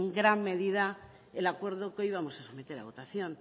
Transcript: gran medida el acuerdo que hoy vamos a someter a votación